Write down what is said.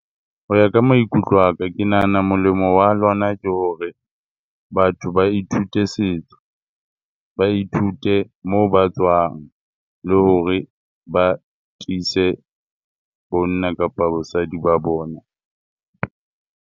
Ho ya ka maikutlo aka ke nahana molemo wa lona ke hore batho ba ithute setso, ba ithute moo ba tswang le hore ba tiise bonna kapa bosadi ba bona.